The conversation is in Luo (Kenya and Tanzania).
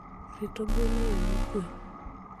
rito gwen e yo mokwe.